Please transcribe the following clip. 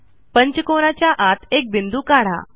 पंचकोनाच्या आत एक बिंदू काढा